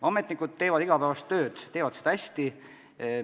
Ametnikud teevad oma igapäevast tööd ja teevad seda hästi.